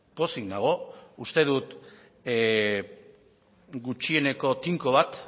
pozik nago uste dut gutxieneko tinko bat